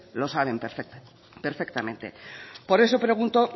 lo saben perfectamente por eso pregunto